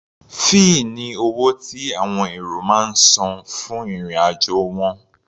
Fẹ́ẹ̀ ni owó tí àwọn èrò máa ń san fún ìrìn-àjò wọn.